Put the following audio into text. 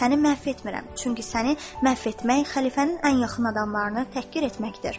Səni məhv etmirəm, çünki səni məhv etmək xəlifənin ən yaxın adamlarını təhqir etməkdir.